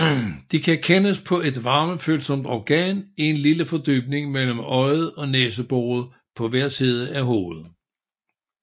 De kan kendes på et varmefølsomt organ i en lille fordybning mellem øjet og næseboret på hver side af hovedet